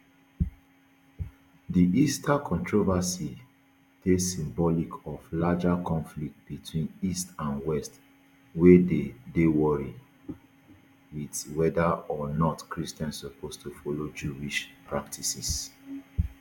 di easter controversy dey symbolic of larger conflicts between east and west wey dey worry wit whether or not christians suppose follow jewish practices